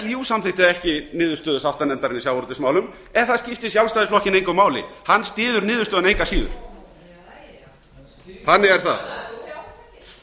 líú samþykkti ekki niðurstöðu sáttanefndarinnar í sjávarútvegsmálum en það skipti sjálfstæðisflokkinn engu máli hann styður niðurstöðuna